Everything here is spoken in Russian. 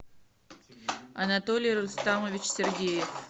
анатолий рустамович сергеев